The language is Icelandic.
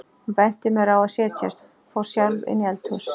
Hún benti mér á að setjast, fór sjálf inn í eldhús.